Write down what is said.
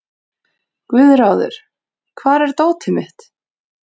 Guðráður, hvar er dótið mitt?